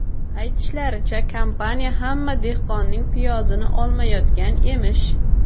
Aytishlaricha, kompaniya hamma dehqonning piyozini olmayotgan emish.